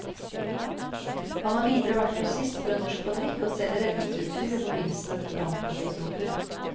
Han har videre vært grossist for en norsk fabrikk og selger redningsutstyr i forbindelse med brannkatastrofer.